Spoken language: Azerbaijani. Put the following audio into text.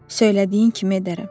Söylədiyin kimi edərəm.